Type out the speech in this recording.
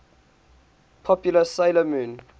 popular 'sailor moon